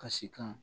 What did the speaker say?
Kasikan